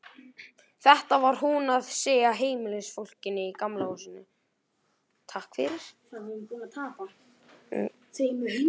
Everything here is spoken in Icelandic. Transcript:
Þetta var hún að segja heimilisfólkinu í Gamla húsinu.